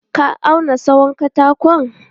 Ka auna tsawon katakon?